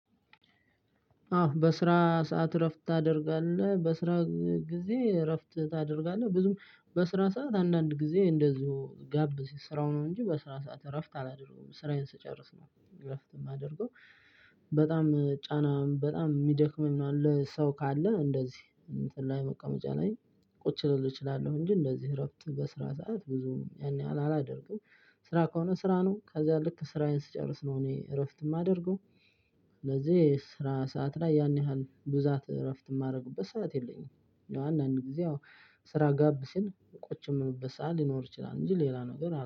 አዎ በስራ ሰዓት እረፍት ታደርጋለህ፤ በስራ ጊዜ እራፍት ታደርጋለህ፤ ብዙም በስራ ሰዓት አንዳንድ ጊዜ እንደዚሁ ጋብ ሲል ስራው ነው እንጂ በስራ ሰዓት እረፍት አላደርግም፤ ስራዬን ስጨርስ ነው እረፍት የማደርገው። በጣም ጫና በጣም ሚደክም መሃል ላይ ሰው ካለ እንደዚህ እንትን ላይ መቀመጫ ላይ ቁጭ ልል እችላለሁ እንጂ እንደዚህ እረፍት በስራ ሰዓት ብዙም ያን ያህል አላደርግም። ስራ ከሆነ ስራ ነው ከዛ ልክ ስራዬን ስጨርስ ነው እኔ እረፍት የማደርገው። ስለዚህ ስራ ሰዓት ላይ ያን ያህል ብዛት እረፍት ማረግበት ሰዓት የለኝም። አንዳንድ ጊዜ ያው ስራ ጋብ ሲል ቁጭ ምልበት ሰዓት ሊኖር ይችላል እንጂ ሌላ ነገር